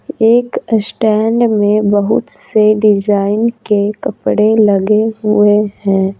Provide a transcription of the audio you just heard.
एक स्टैंड में बहुत से डिज़ाइन के कपड़े लगे हुए है।